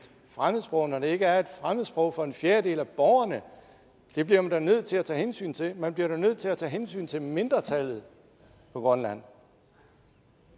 fremmedsprog når det ikke er et fremmedsprog for en fjerdedel af borgerne det bliver man da nødt til at tage hensyn til man bliver da nødt til at tage hensyn til mindretallet på grønland